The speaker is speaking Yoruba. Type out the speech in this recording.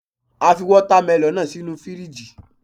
A fi Wọ́támẹlọ̀n náà sínu fíríjì.